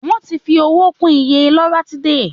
Wọ́n ti fi owó kún iye loratiday.